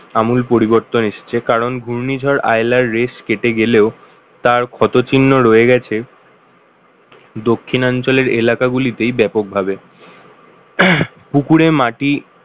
আমূল পরিবর্তন এসেছে কারণ ঘূর্ণিঝড় আইলার race কেটে গেলেও তার ক্ষত চিহ্ন রয়ে গেছে, দক্ষিণাঞ্চলের এলাকা গুলিতেই ব্যাপকভাবে। পুকুরে মাটি